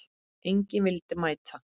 Enginn vildi mæta.